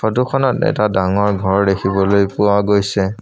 ফটোখনত এটা ডাঙৰ ঘৰ দেখিবলৈ পোৱা গৈছে।